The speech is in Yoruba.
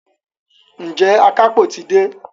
Ǹjẹ́ àkápò ti dé?